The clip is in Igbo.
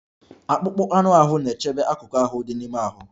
Akpụkpọ anụ ahụ na-echebe akụkụ ahụ dị n'ime ahụ.